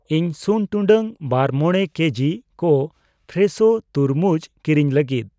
ᱤᱧ ᱥᱩᱱ ᱴᱩᱰᱟᱹᱜ ᱵᱟᱨ ᱢᱚᱲᱮ ᱠᱮᱡᱤ ᱠᱚ ᱯᱷᱨᱮᱥᱷᱳ ᱛᱩᱨᱢᱩᱡ ᱠᱤᱨᱤᱧ ᱞᱟᱹᱜᱤᱫ ᱾